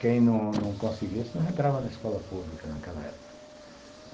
Quem não não conseguisse não entrava na escola pública naquela época.